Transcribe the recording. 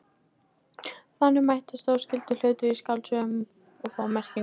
Þannig mætast óskyldir hlutir í skáldsögum og fá merkingu.